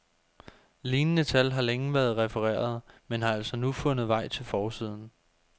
Lignende tal har længe været refereret, men har altså nu fundet vej til forsiden.